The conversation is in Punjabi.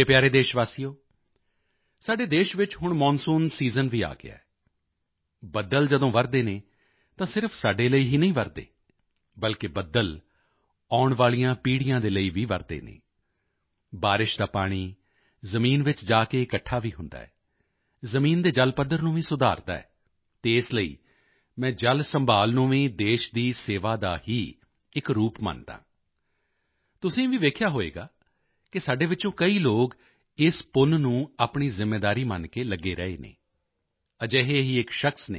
ਮੇਰੇ ਪਿਆਰੇ ਦੇਸ਼ਵਾਸੀਓ ਸਾਡੇ ਦੇਸ਼ ਵਿੱਚ ਹੁਣ ਮੌਨਸੂਨ ਦਾ ਸੀਜ਼ਨ ਵੀ ਆ ਗਿਆ ਹੈ ਬੱਦਲ ਜਦੋਂ ਵਰ੍ਹਦੇ ਹਨ ਤਾਂ ਸਿਰਫ ਸਾਡੇ ਲਈ ਹੀ ਨਹੀਂ ਵਰ੍ਹਦੇ ਬਲਕਿ ਬੱਦਲ ਆਉਣ ਵਾਲੀਆਂ ਪੀੜ੍ਹੀਆਂ ਦੇ ਲਈ ਵੀ ਵਰ੍ਹਦੇ ਹਨ ਬਾਰਿਸ਼ ਦਾ ਪਾਣੀ ਜ਼ਮੀਨ ਵਿੱਚ ਜਾ ਕੇ ਇਕੱਠਾ ਵੀ ਹੁੰਦਾ ਹੈ ਜ਼ਮੀਨ ਦੇ ਜਲ ਪੱਧਰ ਨੂੰ ਵੀ ਸੁਧਾਰਦਾ ਹੈ ਅਤੇ ਇਸ ਲਈ ਮੈਂ ਜਲ ਸੰਭਾਲ਼ ਨੂੰ ਵੀ ਦੇਸ਼ ਦੀ ਸੇਵਾ ਦਾ ਹੀ ਇਕ ਰੂਪ ਮੰਨਦਾ ਹਾਂ ਤੁਸੀਂ ਵੀ ਵੇਖਿਆ ਹੋਵੇਗਾ ਕਿ ਸਾਡੇ ਵਿੱਚੋਂ ਕਈ ਲੋਕ ਇਸ ਪੁੰਨ ਨੂੰ ਆਪਣੀ ਜ਼ਿੰਮੇਵਾਰੀ ਮੰਨ ਕੇ ਲੱਗੇ ਰਹੇ ਹਨ ਅਜਿਹੇ ਹੀ ਇਕ ਸ਼ਖ਼ਸ ਹਨ